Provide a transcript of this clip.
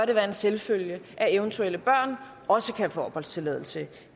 det være en selvfølge at eventuelle børn også kan få opholdstilladelse